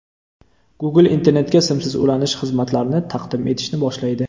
Google internetga simsiz ulanish xizmatlarini taqdim etishni boshlaydi.